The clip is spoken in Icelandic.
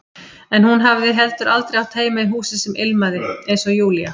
En hún hafði heldur aldrei átt heima í húsi sem ilmaði, eins og Júlía.